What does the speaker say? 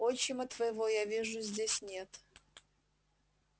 отчима твоего я вижу здесь нет